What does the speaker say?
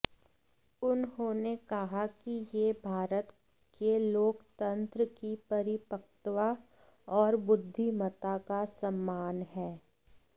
उन्होंने कहा कि यह भारत के लोकतंत्र की परिपक्वता और बुद्धिमत्ता का सम्मान है